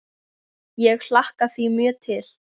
Ég hlakka því mjög til.